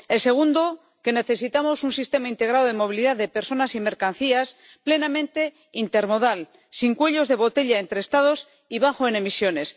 El segundo, que necesitamos un sistema integrado de movilidad de personas y mercancías, plenamente intermodal, sin cuellos de botella entre Estados y bajo en emisiones.